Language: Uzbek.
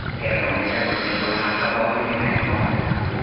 Tehron esa bunga to‘la haqqi borligini aytmoqda.